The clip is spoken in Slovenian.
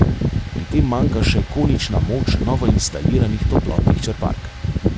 Pri tem manjka še konična moč novoinstaliranih toplotnih črpalk.